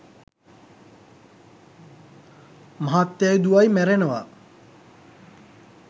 මහත්තයයි දුවයි මැරෙනවා